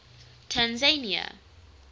tanzania